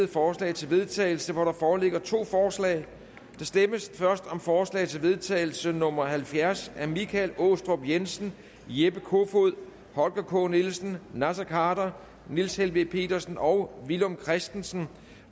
forslag til vedtagelse hvor der foreligger to forslag der stemmes først om forslag til vedtagelse nummer halvfjerds af michael aastrup jensen jeppe kofod holger k nielsen naser khader niels helveg petersen og villum christensen